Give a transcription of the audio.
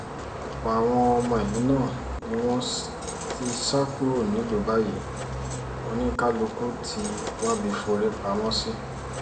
ọ̀pọ̀ àwọn ọmọ ìlú náà ni wọ́n ti sá kúrò nílùú báyìí oníkálukú ti wábi forí pamọ́ sí